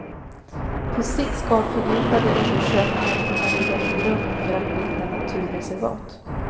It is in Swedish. På sikt ska fördjupade undersökningar kunna ligga till grund för att bilda naturreservat.